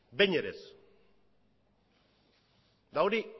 behin ere ez eta hori